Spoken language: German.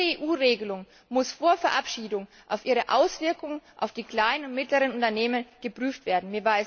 Jede EU Regelung muss vor ihrer Verabschiedung auf ihre Auswirkungen auf die kleinen und mittleren Unternehmen geprüft werden.